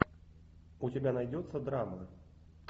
у тебя найдется драма